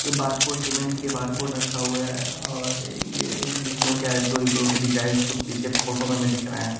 ये barcode payment के लिए बारकोड रखा हुआ है और ये लड़कियों के आईब्रो इब्रो के डिजााइंस कुछ पीछे फोटो में में दिख रहे हैं।